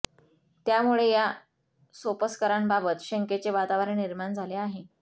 त्यामुळे या सोपस्कारांबाबत शंकेचे वातावरण निर्माण झाले आहे